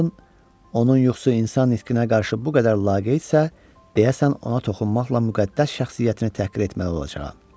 Henden onun yuxusu insan nitqinə qarşı bu qədər laqeyddirsə, deyəsən ona toxunmaqla müqəddəs şəxsiyyətini təhqir etməli olacağam.